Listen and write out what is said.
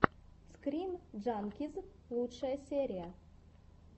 скрин джанкиз лучшая серия